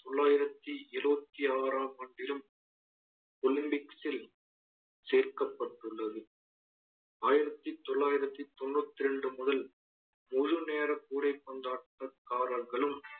தொள்ளாயிரத்தி இருவத்தி ஆறாம் ஆண்டிலும் olympics ல் சேர்க்கப்பட்டுள்ளது. ஆயிரத்தி தொள்ளாயிரத்தி தொண்ணூத்தி ரெண்டு முதல் முழு நேர கூடை பந்தாட்ட க்காரர்களும்